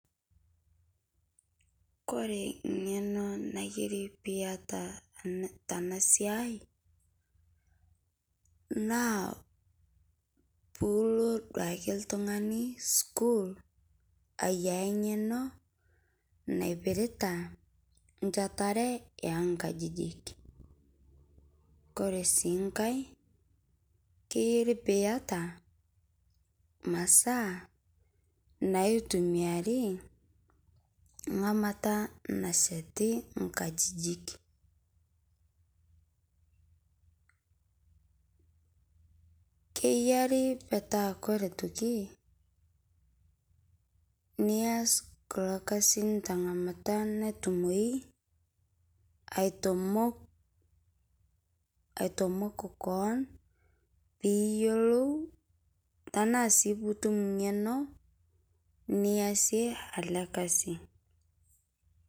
Kore ng'eno naiyari pii eyataa tana siai naa puu loo duake ltung'ani sukuul aiyaa ng'eno naipiritaa nchaatare o nkajijik. Kore sii nkaai keiyeri pii etaa masaa naitumiari ng'amataa nashetii nkajijik. Keiyari peetaa kore aitokii niaas kuloo kasin te ng'amata natuoi aitomook, aitomook koon pii iyeloo tana sii puu utuum ng'eno niasie ele lkasi.